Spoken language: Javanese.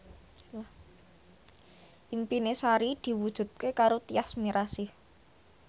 impine Sari diwujudke karo Tyas Mirasih